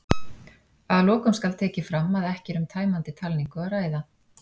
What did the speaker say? Að lokum skal tekið fram að ekki er um tæmandi talningu að ræða.